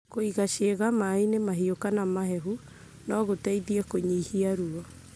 Kũiga ciĩga maĩ-inĩ mahiũ kana mahehu no gũteithie kũnyihia ruo.